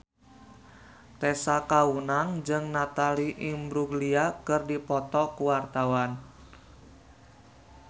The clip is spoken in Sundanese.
Tessa Kaunang jeung Natalie Imbruglia keur dipoto ku wartawan